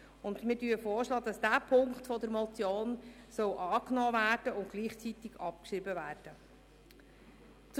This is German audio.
Wir schlagen vor, dass dieser Punkt der Motion angenommen und gleichzeitig abgeschrieben werden soll.